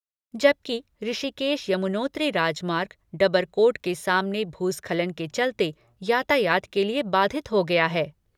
जबकि ऋषिकेश यमुनोत्री राजमार्ग, डबरकोट के सामने भूस्खलन के चलते, यातायात के लिए बाधित हो गया है।